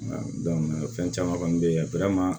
fɛn caman kɔni bɛ yen